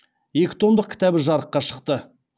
екі томдық кітабы жарыққа шықты